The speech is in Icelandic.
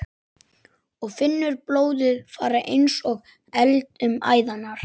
Og finnur blóðið fara eins og eld um æðarnar.